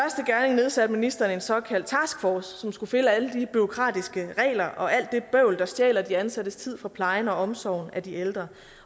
nedsatte ministeren en såkaldt taskforce som skulle finde alle de bureaukratiske regler og alt det bøvl der stjæler de ansattes tid fra plejen og omsorgen for de ældre